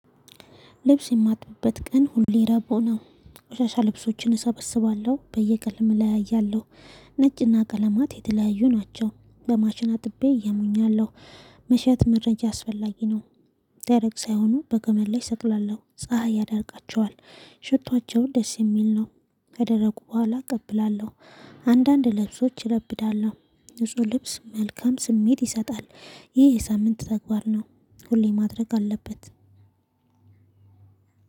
ልብስ የማጥብበት ቀን ሁሌ ረቡ ነው። ቆሻሻ ልብሶችን እሰበስባለሁ፣ በየቀለም እለያያለሁ። ነጭና ቀለማት የተለያዩ ናቸው። በማሽን አጥቤ እየሞኛለሁ። መሸት መረጃ አስፈላጊ ነው። ደረቅ ሳይሆኑ በገመድ ላይ ሰቅላለሁ። ፀሀይ ያዳርቃቸዋል። ሽቶአቸው ደስ የሚል ነው። ከደረቁ በኋላ እቀብላለሁ። አንዳንድ ልብሶች እለብዳለሁ። ንጹህ ልብስ መልካም ስሜት ይሰጣል። ይህ የሳምንት ተግባር ነው። ሁሌ ማድረግ አለበት።